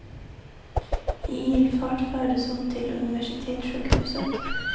I ilfart fördes hon till universitetssjukhuset.